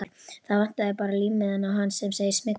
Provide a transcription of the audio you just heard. Það vantar bara límmiðann á hann sem segir SMYGLAÐ.